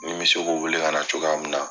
Ni n bɛ se k'o wele ka na cogoya min na.